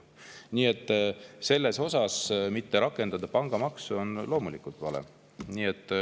Nii et mitte rakendada sellele pangamaksu on loomulikult vale.